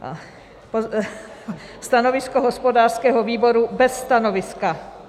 Stanovisko hospodářského výboru: bez stanoviska.